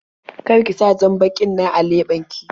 Kar ki sa jan-bakin nan a leɓen ki.